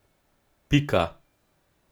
Pika.